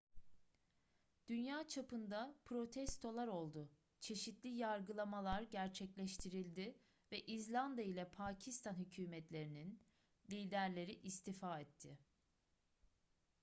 dünya çapında protestolar oldu çeşitli yargılamalar gerçekleştirildi ve i̇zlanda ile pakistan hükumetlerinin liderleri istifa etti